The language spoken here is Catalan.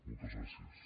moltes gràcies